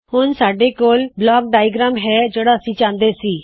ਹੁਣ ਸਾੱਡੇ ਕੋਲ ਬਲਾਕ ਡਾਇਗ੍ਰਾਮ ਯਾਨਿ ਆਕ੍ਰਿਤੀ ਹੈ ਜੋ ਕਿ ਅਸੀ ਚਾਹੁੰਦੇ ਸੀ